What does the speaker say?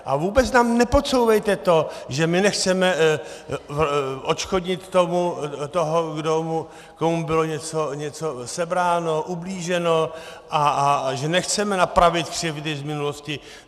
A vůbec nám nepodsouvejte to, že my nechceme odškodnit toho, komu bylo něco sebráno, ublíženo, a že nechceme napravit křivdy z minulosti.